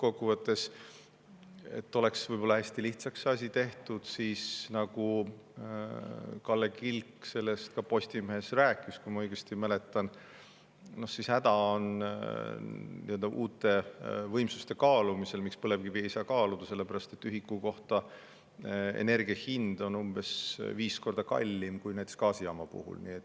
Lõppkokkuvõttes, et oleks asi hästi lihtsaks tehtud: nagu Kalle Kilk sellest ka Postimehes rääkis, kui ma õigesti mäletan, siis uute võimsuste kaalumisel on häda, miks põlevkivi ei saa kaaluda, selles, et ühiku kohta energia hind on umbes viis korda kallim kui näiteks gaasijaama puhul.